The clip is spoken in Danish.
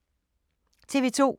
TV 2